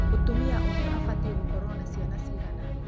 mũtumia ũmwe abatiĩ gũkorwo na ciana ciigana?